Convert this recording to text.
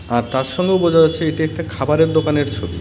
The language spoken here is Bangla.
আর তার সঙ্গেও বোঝা যাচ্ছে এটি একটা খাবারের দোকানের ছবি .